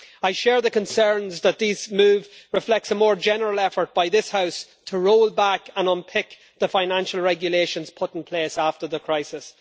I share the concerns that this move reflects a more general effort by this House to roll back and unpick the financial regulations put in place after the crisis.